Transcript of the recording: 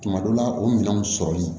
Tuma dɔ la o minɛnw sɔrɔlen